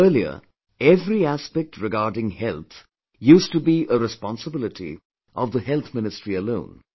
Earlier, every aspect regarding health used to be a responsibility of the Health Ministry alone